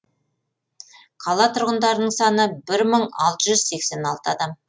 қала тұрғындарының саны мың алты жүз сексен алты адам